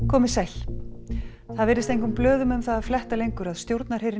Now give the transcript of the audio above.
komiði sæl það virðist engum blöðum um það að fletta lengur að stjórnarherinn